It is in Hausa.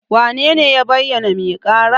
Wanene ya bayyana ga mai ƙara?